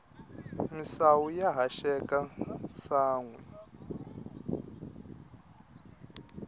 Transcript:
misawu ya haxeka sanhwi